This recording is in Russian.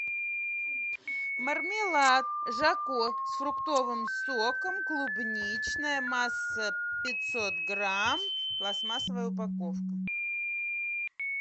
мармелад жако с фруктовым соком клубничная масса пятьсот грамм пластмассовая упаковка